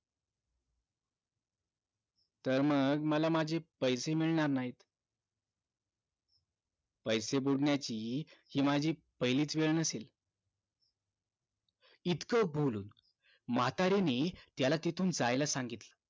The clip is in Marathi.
तर मग मला माझे पैसे मिळणार नाहीत पैसे बुडण्याची हि माझी पहिलीच वेळ नसेल इतकं बोलून म्हातारीने त्याला तिथून जायला सांगितलं